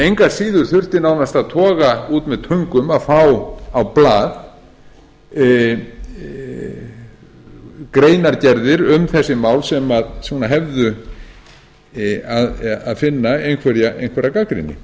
engu að síður þurfti nánast að toga út með töngum að fá á blað greinargerðir um þessi mál sem hefðu að finna einhverja gagnrýni